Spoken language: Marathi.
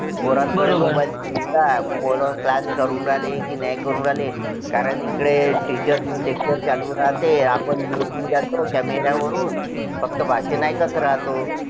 पोरं class करून राहिले का नाही करून राहिले कारण इकडे teacher च lecture चालू राहते आपण आपण mute होऊन जातो camera वरून फक्त भाषण ऐकत राहतो